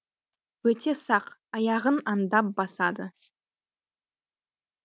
өте сақ аяғын аңдап басады